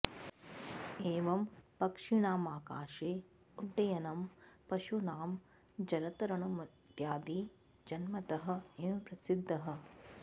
एवं पक्षिणामाकाशे उड्डयनं पशूनां जलतरणमित्यादि जन्मतः एव प्रसिद्धः